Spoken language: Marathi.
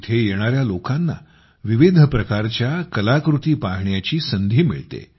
येथे येणाऱ्या लोकांना विविध प्रकारच्या कलाकृती पाहण्याची संधी मिळते